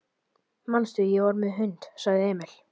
Manstu, ég var með hund, sagði Emil.